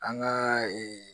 An ka ee